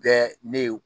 Bɛɛ ne ye